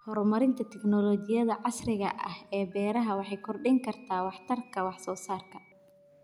Horumarinta tignoolajiyada casriga ah ee beeraha waxay kordhin kartaa waxtarka wax soo saarka.